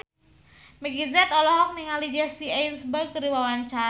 Meggie Z olohok ningali Jesse Eisenberg keur diwawancara